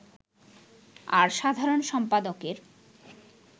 আর সাধারণ সম্পাদকের